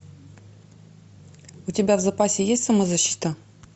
у тебя в запасе есть самозащита